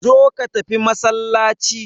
Zo ka tafi masallaci.